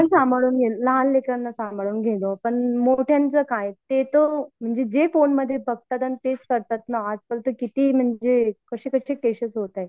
ते तर आपण सांभाळून घेऊ पण मोठ्यांचा काय? ते जे बघतात तसेच बघतात आणि तेच करतात ना आजकाल कसे कसे केसेस होतायेत